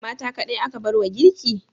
Mata kaɗai aka bar wa girki?